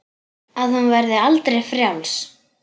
Að hún verði aldrei frjáls.